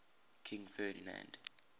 king ferdinand